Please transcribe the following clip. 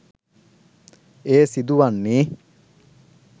එය සිදු වන්නේ